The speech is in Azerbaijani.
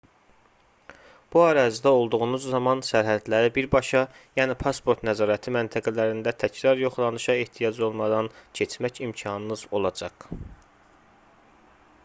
bu ərazidə olduğunuz zaman sərhədləri birbaşa yəni pasport nəzarəti məntəqələrində təkrar yoxlanışa ehtiyac olmadan keçmək imkanınız olacaq